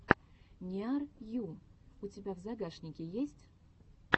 ниар ю у тебя в загашнике есть